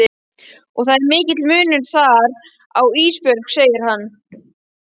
Og það er mikill munur þar á Ísbjörg, segir hann.